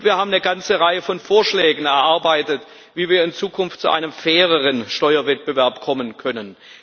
Wir haben eine ganze Reihe von Vorschlägen erarbeitet, wie wir in Zukunft zu einem faireren Steuerwettbewerb kommen können.